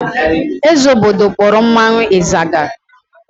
Eze obodo kpọrọ mmanwụ ịzaga.